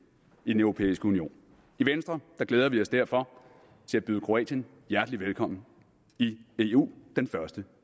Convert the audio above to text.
europæiske union i venstre glæder vi os derfor til at byde kroatien hjertelig velkommen i eu den første